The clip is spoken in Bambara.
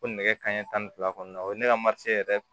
Ko nɛgɛ kanɲɛ tan ni fila kɔnɔna o ye ne ka yɛrɛ